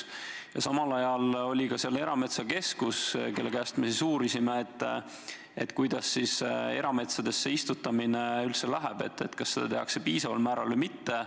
Meil oli kohal ka Erametsakeskus, kelle käest me uurisime, kuidas erametsadesse istutamine üldse läheb – kas seda tehakse piisaval määral või mitte.